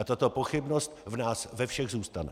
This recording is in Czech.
A tato pochybnost v nás ve všech zůstane.